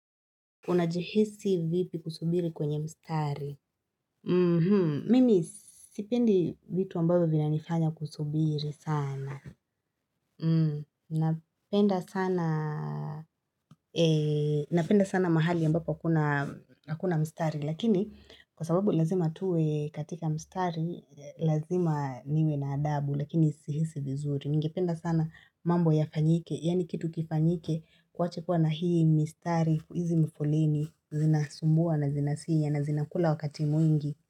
Unajihisi vipi kusubiri kwenye mstari? Mimi sipendi vitu ambavyo vina nifanya kusubiri sana. Napenda sana mahali ambapo kuna hakuna mstari. Lakini kwa sababu lazima tuwe katika mstari, lazima niwe na adabu, lakini sihisi vizuri. Ningependa sana mambo ya fanyike, yani kitu kifanyike kuwache kuwa na hii mstari, hizi mifoleni, zinasumbua na zinasinya na zinakula wakati mwingi.